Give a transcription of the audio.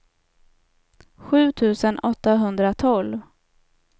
sju tusen åttahundratolv